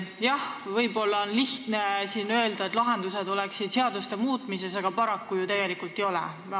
Jah, võib-olla on lihtne siin öelda, et lahendused on seaduste muutmises, aga paraku ju tegelikult ei ole.